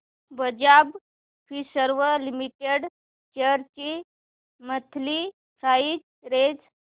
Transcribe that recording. Bajaj Finserv limited shares ची monthly price range